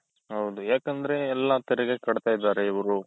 ಹೌದು ಯಾಕಂದ್ರೆ ಎಲ್ಲಾ ತೆರಿಗೆ ಕಟ್ತಾ ಇದ್ದಾರ್ ಇವ್ರು.